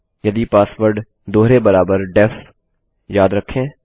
यदि पासवर्ड दोहरे बराबर डेफ याद रखें